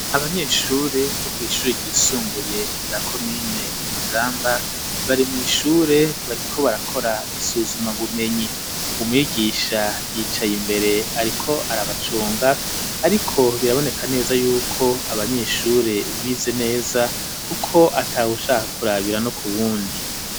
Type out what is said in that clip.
Abanyeshure bo kw'ishure ryisumbuye rya komine Mugamba bari mw'ishure bariko barakora isuzuma bumenyi umwigisha yicaye imbere ariko arabacunga ariko biraboneka neza yuko abanyeshure bize neza kuko atawushaka ku rabira no ku wundi.